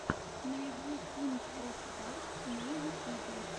найди кинг оф карс на ютюбе